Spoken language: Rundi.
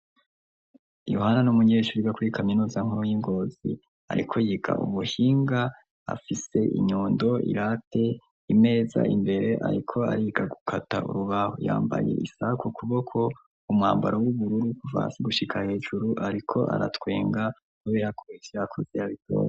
Yohana n' umunyeshuri igakuri kaminozankuro y'ingozi, ariko yiga ubuhinga afise inyondo irate imeza imbere, ariko ariga gukata urubaho yambaye isak kuboko umwambaro w'ubururu kuvansi gushika hejuru, ariko aratwenga nowirakure ivyakoze yabitona.